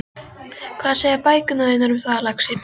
Hvað segja bækurnar þínar um það, lagsi?